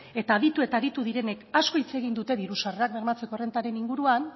eta aditu eta aditu direnek asko hitz egin dute diru sarrerak bermatzeko errentaren inguruan